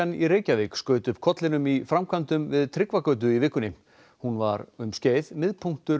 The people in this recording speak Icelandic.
í Reykjavík skaut upp kollinum í framkvæmdum við Tryggvagötu í vikunni hún var um skeið miðpunktur